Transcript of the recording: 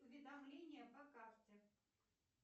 уведомление по карте